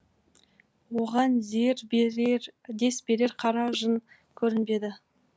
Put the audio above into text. оған дес берер қара жын көрінбеді